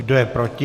Kdo je proti?